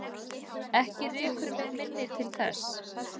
Ekki rekur mig minni til þess.